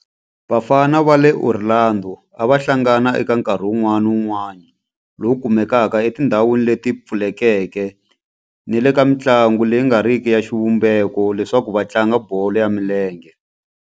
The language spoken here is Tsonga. Vafana va le Orlando a va hlangana eka nkarhi wun'wana ni wun'wana lowu kumekaka etindhawini leti pfulekeke ni le ka mintlawa leyi nga riki ya xivumbeko leswaku va tlanga bolo ya milenge.